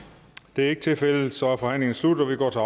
det er ikke tilfældet så er forhandlingen sluttet og vi går til